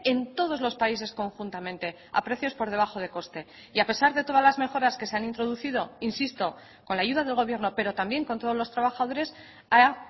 en todos los países conjuntamente a precios por debajo de coste y a pesar de todas las mejoras que se han introducido insisto con la ayuda del gobierno pero también con todos los trabajadores ha